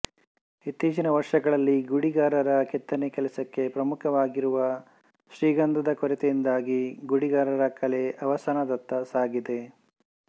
ಇತ್ತೀಚಿನ ವರ್ಷಗಳಲ್ಲಿ ಗುಡಿಗಾರರ ಕೆತ್ತನೆ ಕೆಲಸಕ್ಕೆ ಪ್ರಾಮುಖ್ಯವಾಗಿರುವ ಶ್ರೀಗಂಧದ ಕೊರತೆಯಿಂದಾಗಿ ಗುಡಿಗಾರರ ಕಲೆ ಅವಸಾನದತ್ತ ಸಾಗಿದೆ